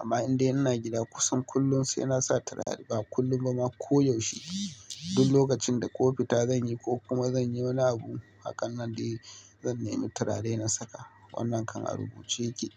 Amma inda ina gida kusan kullum sai nasa turare ba kullum ba ma koyaushe. Duk lokacin da ko fita zanyi ko kuma zanyi wani abu, hakan nan dai zan nemi turare na saka. Wannan kan a rubuce yake.